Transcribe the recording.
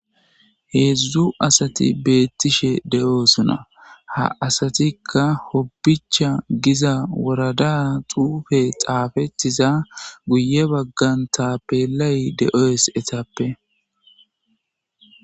Hezhzhu asati betishe de'osona ha asatika hobicha giza worada xuufe xafettida guye baggan tafelay de'es etefe.